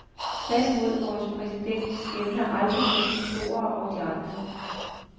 Tværtimod, vores præsident skelner aldrig mellem beboerne og de andre.